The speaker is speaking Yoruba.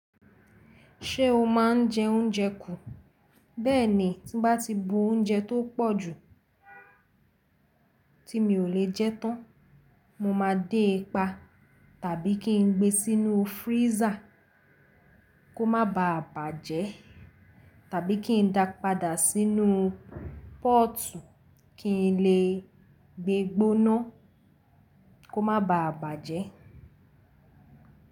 Ṣé o máa ń jẹ oúnjẹ kù? Bẹ́ẹ̀ni, tí mbá ti bu oúnjẹ tó pọ̀jù tí mi ò lè jẹ tán, mo máa dé e pa tàbí kí n gbé e sínú freezer kó má baà bàjẹ́ tàbí kí n dàá padà sínú póòtù kí n lè gbégbóná kó má baà bàjẹ́.